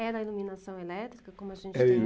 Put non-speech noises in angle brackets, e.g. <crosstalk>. Era iluminação elétrica, como a gente tem <unintelligible>